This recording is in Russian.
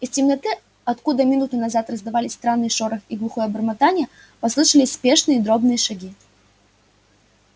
из темноты откуда минуту назад раздавались странный шорох и глухое бормотание послышались спешные дробные шаги